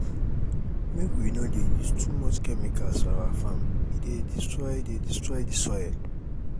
make we no dey use too much chemicals for our farm e dey destroy dey destroy the soil